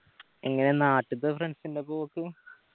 എങ്ങനെയാ നാട്ടിത്തെ friends ൻ്റെപ്പാ പോക്ക്